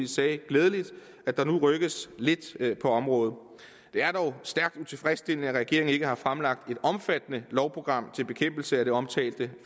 sagde glædeligt at der nu rykkes lidt på området det er dog stærkt utilfredsstillende at regeringen ikke har fremlagt et omfattende lovprogram til bekæmpelse af det omtalte